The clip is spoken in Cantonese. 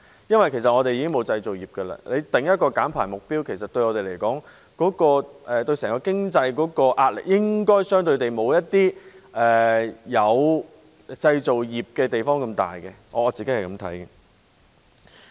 因為香港已沒有製造業，政府制訂減排目標，對我們整體經濟的壓力應該不會像一些有製造業的地方那麼大，這是我個人看法。